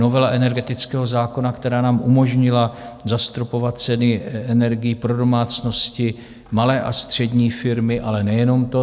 Novela energetického zákona, která nám umožnila zastropovat ceny energií pro domácnosti, malé a střední firmy, ale nejenom to.